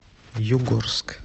югорск